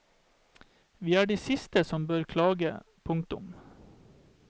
Vi er de siste som bør klage. punktum